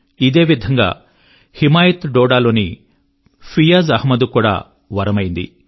ఇదే విధంగా హిమాయత్ డోడా లోని ఫియాజ్ అహ్మద్ కు కూడా వరమైంది